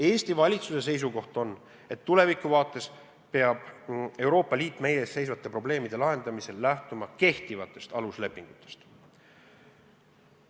Eesti valitsuse seisukoht on, et tulevikuvaates peab Euroopa Liit meie ees seisvate probleemide lahendamisel lähtuma kehtivatest aluslepetest.